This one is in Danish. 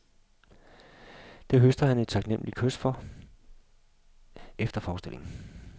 Det høster han et taknemmeligt kys for efter forestillingen.